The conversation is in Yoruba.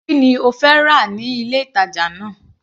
Kí ni ó fẹ́ rà ní ilé ìtàjà náà.